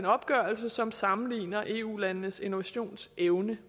opgørelse som sammenligner eu landenes innovationsevne